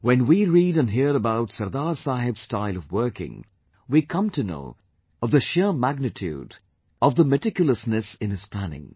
When we read and hear about Sardar Saheb's style of working, we come to know of the sheer magnitude of the meticulousness in his planning